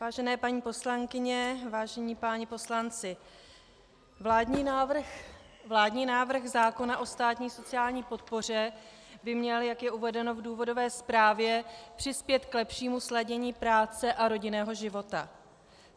Vážené paní poslankyně, vážení páni poslanci, vládní návrh zákona o státní sociální podpoře by měl, jak je uvedeno v důvodové zprávě, přispět k lepšímu sladění práce a rodinného života.